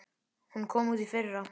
Hún kom út í fyrra.